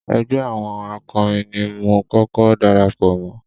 Ẹgbẹ́ àwọn akọrin ni mo kọ́kọ́ darapọ̀ mọ́.